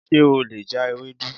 Ṣe o le ja Ewedu?